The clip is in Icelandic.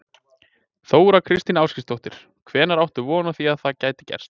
Þóra Kristín Ásgeirsdóttir: Hvenær áttu von á því að það geti gerst?